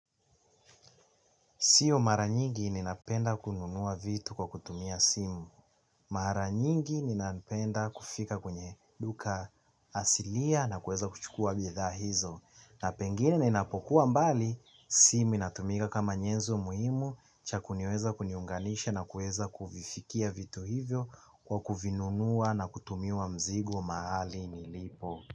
Sio mara nyingi ninapenda kununua vitu kwa kutumia simu. Mara nyingi ninapenda kufika kwenye duka hasilia na kuweza kuchukua bidhaa hizo na pengine ninapokuwa mbali simu inatumika kama nyezo muhimu cha kuniweza kuniunganisha na kuweza kuvifikia vitu hivyo kwa kuvinunua na kutumiwa mzigo mahali nilipo.